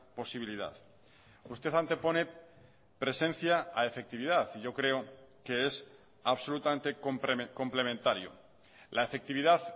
posibilidad usted antepone presencia a efectividad y yo creo que es absolutamente complementario la efectividad